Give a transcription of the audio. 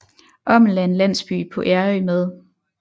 Ommel er en landsby på Ærø med